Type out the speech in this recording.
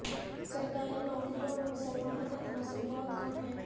سرکاری نوکریوں میں مسلمانوں کا تناسب بہت کم ہے